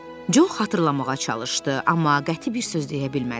Co xatırlamağa çalışdı, amma qəti bir söz deyə bilmədi.